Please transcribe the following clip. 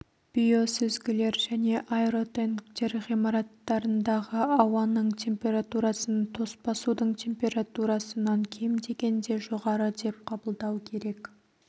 биосүзгілер және аэротенктер ғимараттарындағы ауаның температурасын тоспа судың температурасынан кем дегенде жоғары деп қабылдау керек